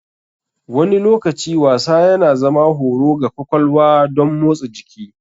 Wani lokaci wasa yana zama horo ga kwakwalwa don motsa jiki.